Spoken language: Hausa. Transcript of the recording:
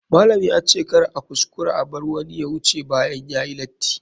Malam ya ce kar a kuskura a bar wani ya wuce bayan yayi lati.